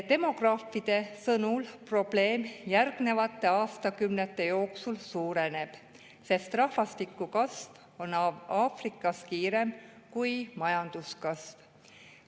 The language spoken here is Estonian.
Demograafide sõnul probleem järgnevate aastakümnete jooksul suureneb, sest rahvastiku kasv on Aafrikas kiirem kui majanduskasv.